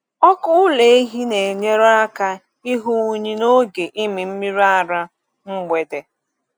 Ọkụ ụlọ ehi na-enyere aka ịhụ unyi n’oge ịmị mmiri ara mgbede.